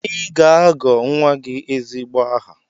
Ị ga-agọ nwa gị ezigbo aha!